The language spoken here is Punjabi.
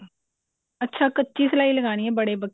ਅੱਛਾ ਕੱਚੀ ਸਲਾਈ ਲਗਾਉਣੀ ਹੈ ਬੜੇ ਪੱਖੇ ਤੇ